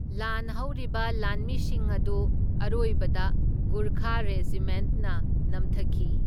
ꯂꯥꯟ ꯍꯧꯔꯤꯕ ꯂꯥꯟꯃꯤꯁꯤꯡ ꯑꯗꯨ ꯑꯔꯣꯏꯕꯗ ꯒꯨꯔꯈꯥ ꯔꯦꯖꯤꯃꯦꯟꯠꯅ ꯅꯝꯊꯈꯤ꯫